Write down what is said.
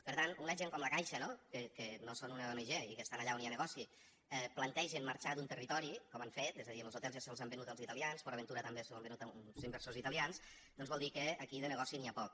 per tant quan una gent com la caixa no que no són una ong i que estan allà on hi ha negoci plantegen marxar d’un territori com han fet és a dir los hotels ja se’ls han venut als italians port aventura també s’ho han venut a uns inversors italians vol dir que aquí de negoci n’hi ha poc